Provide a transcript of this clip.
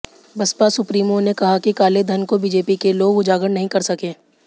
Baspa supremo ने कहा कि कालेधन को बीजेपी के लोग उजागर नहीं कर सके